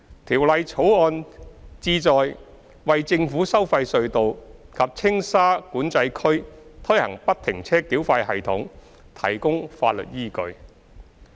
《條例草案》旨在為在政府收費隧道及青沙管制區推行不停車繳費系統提供法律依據。